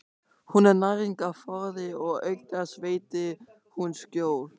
Hún er næringarforði og auk þess veitir hún skjól.